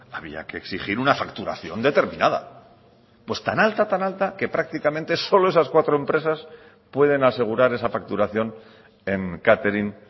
había que exigir una facturación determinada pues tan alta tan alta que prácticamente solo esas cuatro empresas pueden asegurar esa facturación en catering